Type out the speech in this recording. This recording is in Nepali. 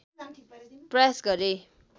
प्रयास गरेँ